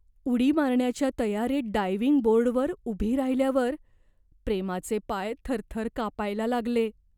उडी मारण्याच्या तयारीत डायव्हिंग बोर्डवर उभी राहिल्यावर प्रेमाचे पाय थरथर कापायला लागले.